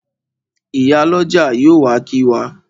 Ìyálọ́jà yóò wá kí wa.